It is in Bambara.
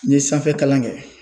N ye sanfɛkalan kɛ